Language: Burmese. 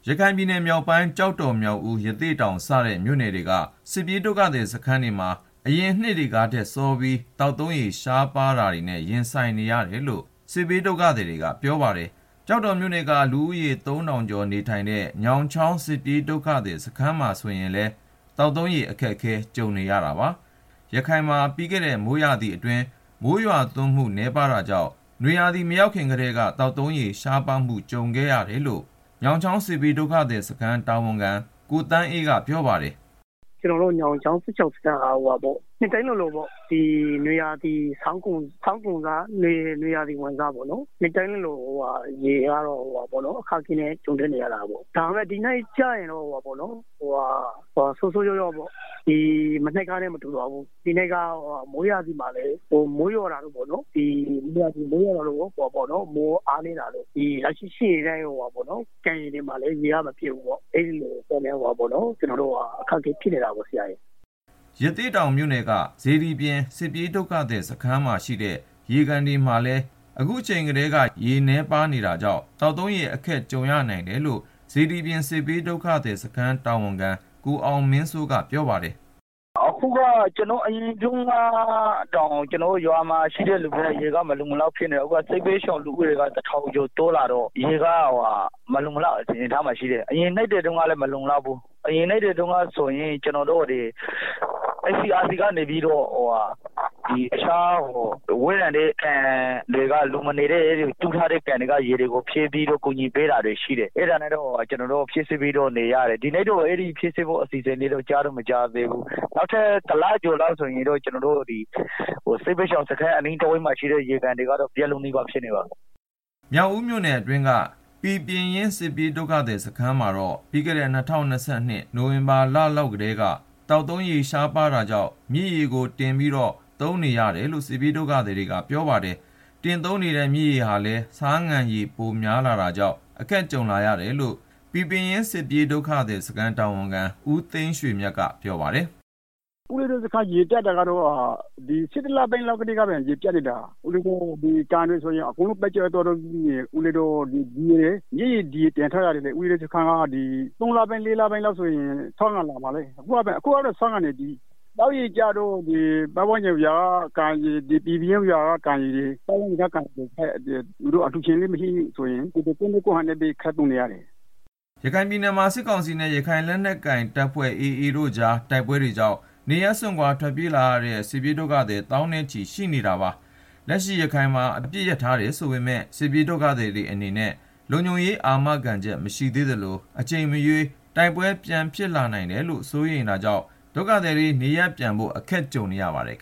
ရခိုင်ပြည်နယ်မြောက်ပိုင်း ကျောက်တော် မြောက်ဦး ရသေ့တောင်စတဲ့ မြို့နယ်တွေက စစ်ပြေးဒုက္ခသည်စခန်းတွေမှာ အရင်နှစ်တွေကထက်စောပြီး သောက်သုံးရေ ရှားပါးမှုတွေနဲ့ ရင်ဆိုင်နေရတယ်လို့ စစ်ဘေးဒုက္ခသည်တွေက ပြောပါတယ်။ ကျောက်တော်မြို့နယ်က လူဦးရေ သုံးထောင်ကျော်နေထိုင်တဲ့ ညောင်ချောင်းစစ်ပြေးဒုက္ခသည် စခန်းမှာဆိုရင်လည်း သောက်သုံးရေ အခက်ကြုံနေရပါတယ်။ ရခိုင်မှာ ပြီးခဲ့တဲ့ မိုးရာသီကာလ မိုးရွာသွန်းမှု နည်းပါးခဲ့တာကြောင့် နွေရာသီ မရောက်ခင်ကတည်းက သောက်သုံးရေ ရှားပါးမှု ကြုံခဲ့ရတယ်လို့ ညောင်ချောင်း စစ်ဘေးဒုက္ခသည်စခန်း တာဝန်ခံ ကိုသန်းအေးကပြောပါတယ်။ “ ကျနော်တို့ ညောင်ချောင်း စစ်ဘေးဒုက္ခသည်စခန်းက နှစ်တိုင်းလိုလို ဒီဆောင်းကုန်ပြီးတော့ နွေရာသီဆိုရင် ရေကတော့ အခက်အခဲနဲ့ ကြုံရတယ်။ ဒါပေမဲ့ ဒီနှစ်ကျရင်တော့ ဆိုးဆိုး ရွားရွားပေါ့၊ မနှစ်ကနဲ့ မတူဘူး ဒီနှစ်က မိုးရာသီမှာလည်း မိုးရွာတာ အားနည်းတော့ ကန်တွေမှာလည်း ရေက မပြည့်ဘူးပေါ့၊ အဲတာကြောင့် ကျနော်တို့ အခက်အခဲဖြစ်နေတာ။” ရသေ့တောင်မြို့နယ်က စေတီပြင် စစ်ပြေးဒုက္ခသည်စခန်းမှာရှိတဲ့ ရေကန်တွေမှာလည်း အခုချိန်ကတည်းက ရေနည်းပါးနေတာကြောင့် သောက်သုံးရေ အခက်ကြုံရနိုင်တယ်လို့ စေတီပြင်စစ်ဘေးဒုက္ခသည်စခန်း တာဝန်ခံ ကိုအောင်မင်းစိုးက ပြောပါတယ်။ “ အရင်တုန်းကတောင် ကျနော်တို့ရွာက ရေက မလုံမလောက်ဖြစ်နေတာ၊ အခု စစ်ဘေးဒုက္ခသည် လူဦးရေက တထောင်ကျော် တိုးလာတော့ ရေက မလုံလောက်တော့ဘူး၊ အရင်နှစ်တွေ တုန်းကဆိုရင် ကျနော်တို့ဒီ ICRC ကနေပြီးတော့ တခြားဝေးလံတဲ့ နေရာက ရေကိုယူပြီး ကူညီပေးတာရှိတယ်၊ ဒီနှစ်တော့ အဲလို လုပ်ပေးဖို့ မကြားသေးဘူး။ နောက်ထပ် တလလောက် ဆိုရင်တော့ ကျနော်တို့ ဒီ စစ်ဘေးဒုက္ခသည်စခန်း အနီးတဝိုက်မှာရှိတဲ့ ရေကန်တွေက ရေခမ်းလောက်ပြီ။” မြောက်ဦးမြို့နယ်အတွင်းက ပီပင်ရင်း စစ်ပြေးဒုက္ခသည် စခန်းမှာတော့ ပြီးခဲ့တဲ့ ၂၀၂၂ ခုနှစ် နိုဝင်ဘာလလောက်ကတည်းက သောက်သုံးရေ ရှားပါးတာကြောင့် မြစ်ရေကိုတင်ပြီးတော့ သုံးနေရတယ်လို့ စစ်ပြေးဒုက္ခသည်တွေကပြောပါတယ်။ တင်သုံးနေတဲ့ မြစ်ရေဟာလည်း ဆားငံရည် ဖြစ်နေတာကြောင့် အခက်ကြုံလာရတယ်လို့ ပီပင်ရင်း စစ်ပြေးဒုက္ခသည်စခန်းတာဝန်ခံ ဦးသိန်းရွှေမြတ်က ပြောပါတယ်။ “ ကျနော်တို့စခန်း ရေပြတ်တာကတော့ ၁၁ လပိုင်းလောက်ကတည်းက ရေပြတ်နေတာ၊ ကန်တွေဆိုရင် အကုန်လုံး ခမ်းခြောက်နေပြီ၊ မြစ်ရေကို တင်ထားရတယ်၊ မြစ်ရေကလည်း ၃ လပိုင်းလောက်ဆိုရင် ဆားငံရေတွေဖြစ်လာမှာ အခုကတည်းက ဆားငံနေပါပြီ၊ သောက်ရေကျတော့ ပတ်ဝန်းကျင်က ကန်ရေတွေ ပီပင်ရင်းကျေးရွာက ကန်ရေကို အလှုရှင်လည်း မရှိတော့ ကိုယ့်နည်းကိုယ့်ဟန်နဲ့ ခပ်သုံးနေရတာ။” ရခိုင်ပြည်နယ်မှာ စစ်ကောင်စီနဲ့ ရခိုင်လက်နက်ကိုင် AAအဖွဲ့ကြား တိုက်ပွဲတွေကြောင့် နေရပ်စွန့်ခွာ ထွက်ပြေးလာတဲ့ စစ်ပြေးဒုက္ခသည် သောင်းနဲ့ချီ ရှိနေသေးတာပါ။ လက်ရှိ ရခိုင်မှာ အပစ်ရပ်ထားတယ်ဆိုပေမယ့် စစ်ပြေးဒုက္ခသည်တွေအနေနဲ့ လုံခြုံရေး အာမခံချက် မရှိသေးသလို အချိန်မရွေး တိုက်ပွဲဖြစ်လာနိုင်တယ်လို့ စိုးရိမ်နေတာကြောင့် နေရပ်ပြန်ဖို့ ခက်နေကြပါတယ်။